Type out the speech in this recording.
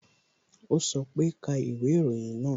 O sọ pe "ka ìwé ìròyìn náà"